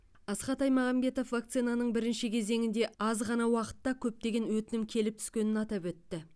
асхат аймағамбетов вакцинаның бірінші кезеңінде аз ғана уақытта көптеген өтінім келіп түскенін атап өтті